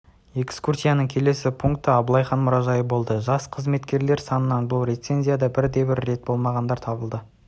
экскурсияның келесі пункі абылайхан мұражайы болды жас қызметкерлер санынан бұл резеденцияда бірде бір рет болмағандар табылды